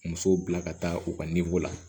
Musow bila ka taa u ka la